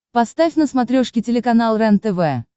поставь на смотрешке телеканал рентв